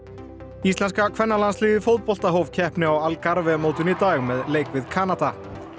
íslenska kvennalandsliðið í fótbolta hóf keppni á mótinu í dag með leik við Kanada